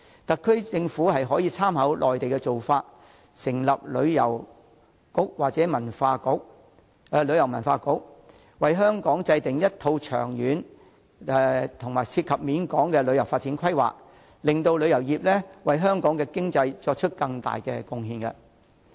特區政府可參考內地的做法，成立旅遊局或旅遊文化局，為香港制訂一套長遠及涉及廣泛層面的旅遊發展規劃，使旅遊業得以為香港經濟作出更多貢獻。